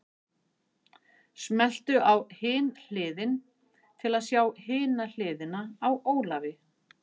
Smelltu á Hin Hliðin til að sjá hina hliðina á Ólafi.